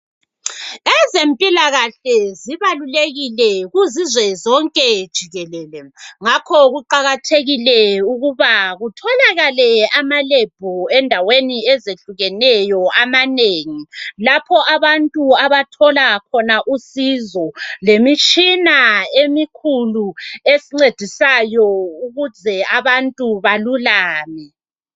Ezempilakahle zibalulekile kuzizwe zonke jikelele ngakho kuqakathekile ukuba kutholakale ama"lab" endaweni ezehlukeneyo amanengi lapho abantu abathola khona usizo lemitshina emikhulu esincedisayo ukuze abantu balulame.